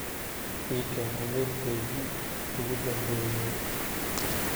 iiken iimaylkeygii ugu dhambeyay